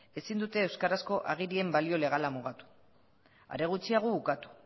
ezin dute euskarazko agirien balio legala mugatu are gutxiago ukatu